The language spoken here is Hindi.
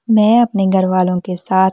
मैं अपने घर वालों के साथ--